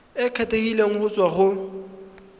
e kgethegileng go tswa go